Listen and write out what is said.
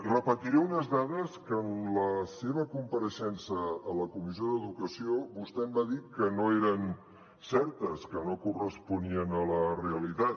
repetiré unes dades que en la seva compareixença a la comissió d’educació vostè em va dir que no eren certes que no corresponien a la realitat